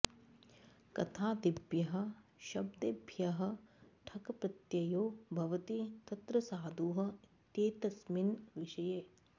कथादिभ्यः शब्देभ्यः ठक् प्रत्ययो भवति तत्र साधुः इत्येतस्मिन् विषये